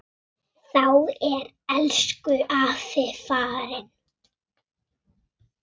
Núna sést þetta fólk varla.